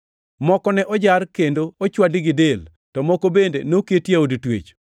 Moko ne ojar kendo ochwadi gi del, to moko bende noketi e od twech.